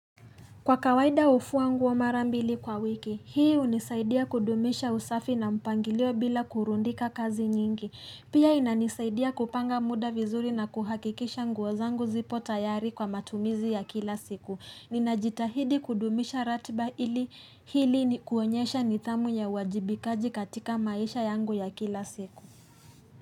Kwa kawaida hufua nguo mara mbili kwa wiki, hii hunisaidia kudumisha usafi na mpangilio bila kurundika kazi nyingi. Pia inanisaidia kupanga muda vizuri na kuhakikisha nguo zangu zipo tayari kwa matumizi ya kila siku. Ninajitahidi kudumisha ratba ili hili ni kuonyesha nithamu ya uwajibikaji katika maisha yangu ya kila siku.